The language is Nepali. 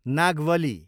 नागवली